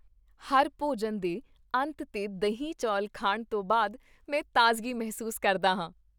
ਹਰ ਭੋਜਨ ਦੇ ਅੰਤ 'ਤੇ ਦਹੀਂ ਚੌਲ ਖਾਣ ਤੋਂ ਬਾਅਦ ਮੈਂ ਤਾਜ਼ਗੀ ਮਹਿਸੂਸ ਕਰਦਾ ਹਾਂ।